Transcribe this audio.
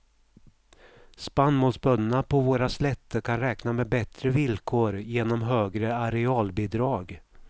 Spannmålsbönderna på våra slätter kan räkna med bättre villkor genom högre arealbidrag.